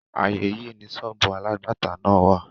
Ààyè yí ni sọ́ọ̀bù alágbàtà náà wà.